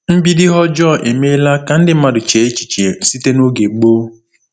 MBIDO ihe ọjọọ emeela ka ndị mmadụ chee echiche site n’oge gboo.